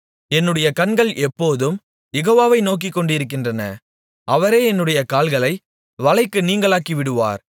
என்னுடைய கண்கள் எப்போதும் யெகோவாவை நோக்கிக்கொண்டிருக்கின்றன அவரே என்னுடைய கால்களை வலைக்கு நீங்கலாக்கிவிடுவார்